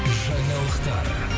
жаңалықтар